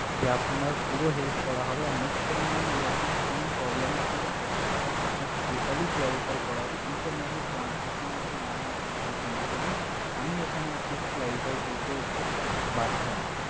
যে আপনার পুরো help করা হবে and next time ma'am এরকম কোনো problem এ আপনাকে পড়তে হবে না আপনাকে totally clarify করা হবে each and every point each and every lines terms and conditions এর আমি এখানে আপনাকে clarify করতে বাধ্য ma'am